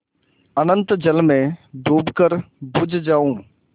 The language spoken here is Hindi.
अनंत जल में डूबकर बुझ जाऊँ